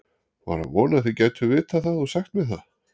var að vona þið gætuð vitað það og sagt mér það